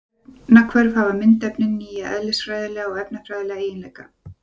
Eftir efnahvörf hafa myndefnin nýja eðlisfræðilega og efnafræðilega eiginleika.